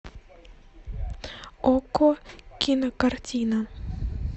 окко кинокартина